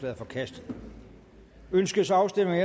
er forkastet ønskes afstemning